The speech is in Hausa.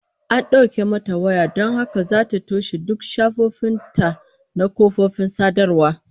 An dauke mata waya don haka zata toshe duk shafukan ta na kafofin sadarwa